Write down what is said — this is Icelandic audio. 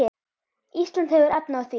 Ísland hefur efni á því.